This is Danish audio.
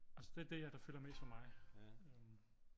Altså det er det der fylder mest for mig